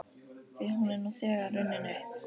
Því hún er nú þegar runnin upp.